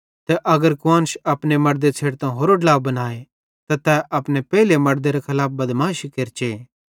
त अगर कुआन्श अपने मड़दे छ़ेडतां होरो ड्ला बनाए त तै अपने पेइले मड़देरे खलाफ बदमाशी केरचे